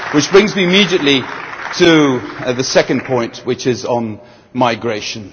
This brings me immediately to my second point, which is on migration.